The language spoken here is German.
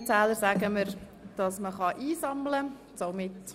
Die Stimmenzähler sagen mir, dass man einsammeln kann.